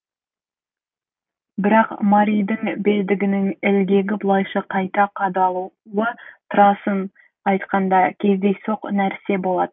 бірақ маридің белдігінің ілгегі бұлайша қайта қадалуы турасын айтқанда кездейсоқ нәрсе болатын